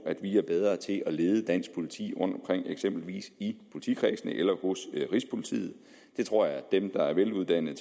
at vi er bedre til at lede dansk politi rundtomkring eksempelvis i politikredsene eller hos rigspolitiet det tror jeg at dem der er veluddannede